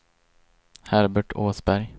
Herbert Åsberg